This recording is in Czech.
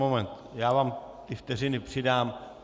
Moment, já vám ty vteřiny přidám.